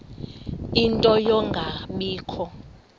ie nto yokungabikho